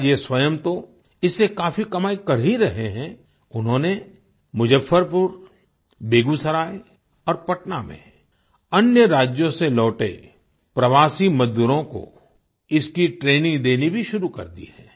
आज ये स्वयं तो इससे काफ़ी कमाई कर ही रहे हैं उन्होंने मुजफ्फरपुर बेगूसराय और पटना में अन्य राज्यों से लौटे प्रवासी मजदूरों को इसकी ट्रेनिंग देनी भी शुरू कर दी है